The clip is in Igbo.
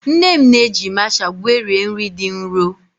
Nne m na-eji masha gwerie nri dị nro.